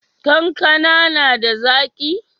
Kankana na da zaki?